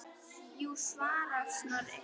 Jú svarar Snorri.